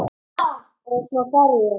Og svo fer ég.